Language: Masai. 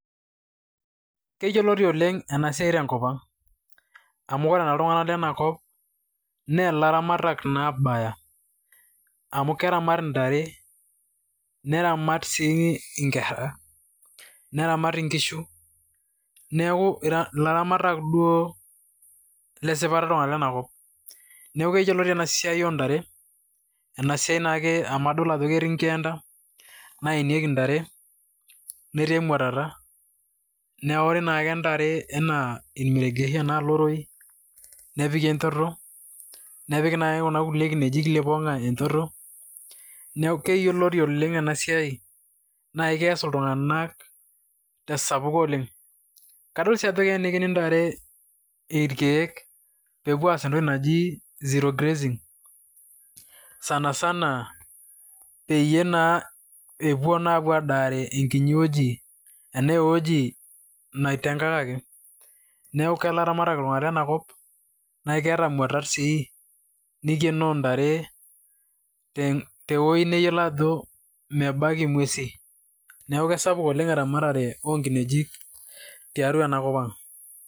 Keyioloti oleng' enasias tenkop ang amu ore ltung'anak lenakop na laramatak naa abaya, amu keramat ntare neramat sii nkera neramat sii nkishu neaku laramatak duo lesipata ltung'anak lenakop, neaku keyioloti enasiai oontare amu adolita ajo ketii nkeenda naenieki ntare netii emwatata, neaku iwoshokino oke ntare enaa loroi nepiki enchoto nepiki nai kuna kinejik liponga enchoto neaku keyiolori oleng enasiai neaku keas ltunganak tesapuko oleng ,kadol oshi ajo keenikini ntare ichanito anaa entoki naji zero grazing sana sana peepuo naa adaare enkiti wueji naitengakaki amu laramatak ltunganak lenakop nakeeta mwaatat sii naibooyo ntare e tewuni mayiolo alo ,neaku kesapuk oleng' eramatare onkinejik tenakop ang'.